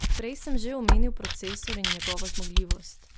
Prej sem že omenil procesor in njegovo zmogljivost.